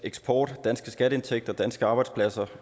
eksport danske skatteindtægter og danske arbejdspladser